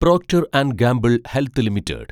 Procter and Gamble health limited